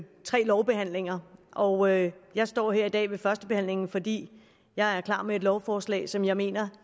tre lovbehandlinger og jeg jeg står her i dag ved førstebehandlingen fordi jeg er klar med et lovforslag som jeg mener